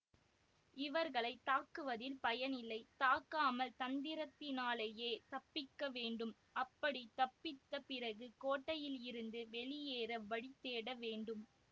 இவர்களை தாக்குவதில் பயனில்லை தாக்காமல் தந்திரத்தினாலேயே தப்பிக்க வேண்டும் அப்படி தப்பித்த பிறகு கோட்டையிலிருந்து வெளியேற வழி தேட வேண்டும்